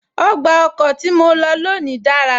Ọgbà ọkọ̀ tí mo lọ lónìí dára